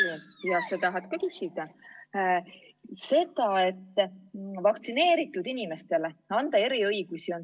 Jutt käib tavaliselt sellest, et anda vaktsineeritud inimestele eriõigusi.